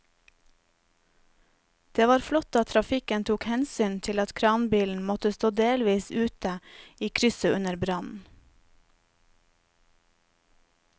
Det var flott at trafikken tok hensyn til at kranbilen måtte stå delvis ute i krysset under brannen.